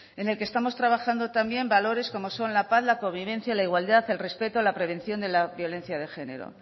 en el que estamos trabajando también valores como son la paz la convivencia la igualdad el respeto la prevención de la violencia de género